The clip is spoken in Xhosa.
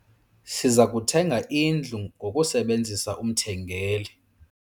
Siza kuthenga indlu ngokusebenzisa umthengeli.